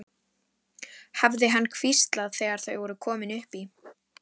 hafði hann hvíslað þegar þau voru komin upp í.